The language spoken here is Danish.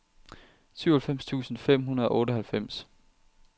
syvoghalvfems tusind fem hundrede og otteoghalvfems